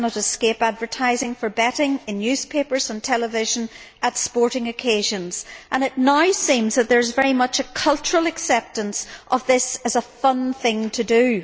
You cannot escape advertising for betting in newspapers and television, at sporting occasions, and it now seems that there is very much a cultural acceptance of this as a fun thing to do.